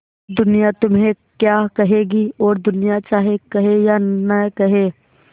दुनिया तुम्हें क्या कहेगी और दुनिया चाहे कहे या न कहे